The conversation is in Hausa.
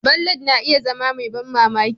Ballad na iya zama mai ban mamaki.